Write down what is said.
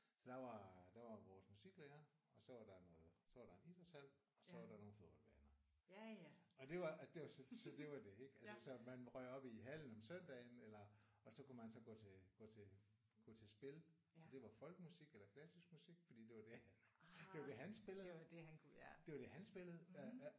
Så der var der var vores musiklærer og så var der noget så var der en idrætshal og så var der nogle fodboldbaner. Og det var at det var så det var det ik? Altså så man røg op i hallen om søndagen eller og så kunne man gå til gå til gå til spil og det var folkemusik eller klassisk musik fordi det var det det var det han spillede det var det han spillede